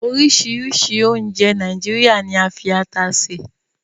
Orisiirisii ounje Naijiria ni a fi ata se